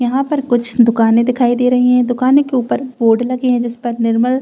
यहां पर कुछ दुकानें दिखाई दे रही हैं दुकानों के ऊपर बोर्ड लगे हैं जिस पर निर्मल --